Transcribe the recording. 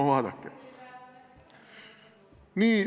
No vaadake!